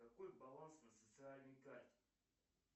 какой баланс на социальной карте